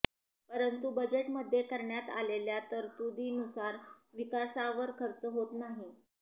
परंतु बजेटमध्ये करण्यात आलेल्या तरतुदींनुसार विकासावर खर्च होत नाही